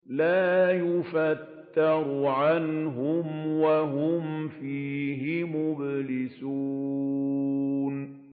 لَا يُفَتَّرُ عَنْهُمْ وَهُمْ فِيهِ مُبْلِسُونَ